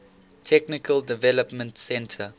technical development center